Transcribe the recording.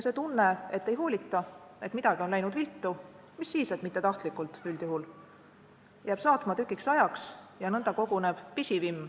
See tunne, et ei hoolita, et midagi on läinud viltu – mis siis, et mitte tahtlikult, üldjuhul –, jääb saatma tükiks ajaks ja nõnda koguneb pisivimm.